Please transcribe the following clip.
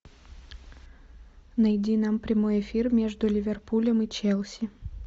найди нам прямой эфир между ливерпулем и челси